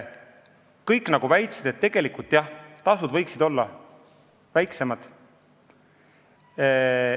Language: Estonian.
Kõik väitsid, et tegelikult võiksid tasud olla väiksemad.